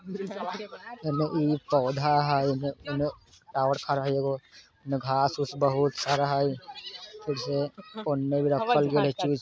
hello ई एक पौधा है टावर खड़ा ईगो घास पूस बहुत सारा है